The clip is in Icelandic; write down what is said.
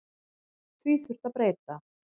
Því þurfi að breyta.